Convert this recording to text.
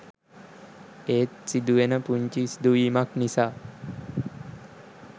ඒත් සිදුවෙන පුංචි සිදුවීමක් නිසා